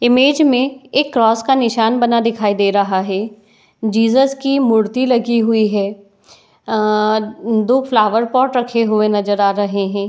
image में एक cross का निशान बना दिखाई दे रहा है जीसस की मूर्ति लगी हुई है | आ दो फ्लावर पोर्ट रखे हुए नजर आ रहे हैं |